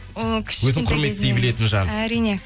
ол кішкентай кезінен өзін құрметтей білетін жан әрине